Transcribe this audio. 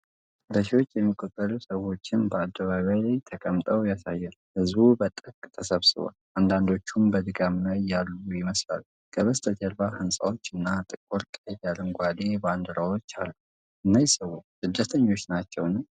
በሺዎች የሚቆጠሩ ሰዎችን በአደባባይ ላይ ተቀምጠው ያሳያል። ሕዝቡ በጥብቅ ተሰባስቧል፣ አንዳንዶቹም በድካም ላይ ይመስላሉ። ከበስተጀርባ ሕንፃዎች እና ጥቁር ቀይ አረንጓዴ ባንዲራዎች አሉ። እነዚህ ሰዎች ስደተኞች ናቸው?